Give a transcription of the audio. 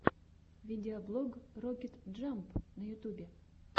видеоблог рокет джамп на ютьюбе